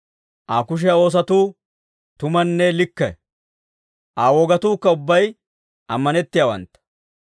Aa kushiyaa oosotuu tumanne likke; Aa wogatuukka ubbay ammanettiyaawantta.